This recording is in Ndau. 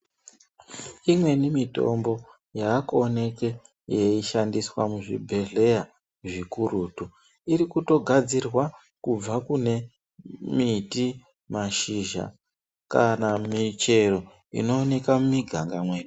Imweni mitombo yaakuoneke yeishandiswa muzvibhedhleya zvikurutu irikutogadzirwa kubva kune miti, mashizha kana mumichero inooneka mumiganga mwedu.